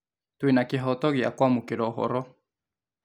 Twĩna kĩhoto gĩa kwamũkĩra ũhoro